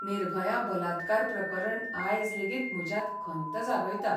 निर्भया बलात्कार प्रकरण आयज लेगीत म्हज्यांत खंत जागयता.